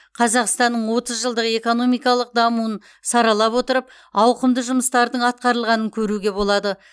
қазақстанның отыз жылдық экономикалық дамуын саралап отырып ауқымды жұмыстардың атқарылғанын көруге болады